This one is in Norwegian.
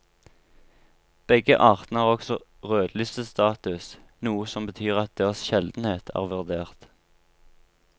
Begge artene har også rødlistestatus, noe som betyr at deres sjeldenhet er vurdert.